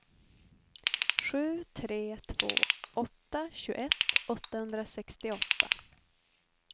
sju tre två åtta tjugoett åttahundrasextioåtta